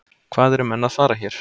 Hvað eru menn að fara hér?